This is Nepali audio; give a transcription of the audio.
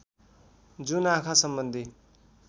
जुन आँखा सम्बन्धी